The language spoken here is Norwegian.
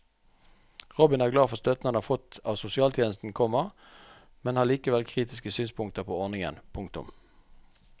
Robin er glad for støtten han har fått av sosialtjenesten, komma men har likevel kritiske synspunkter på ordningen. punktum